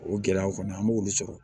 O gɛlɛyaw fana an b'olu sɔrɔ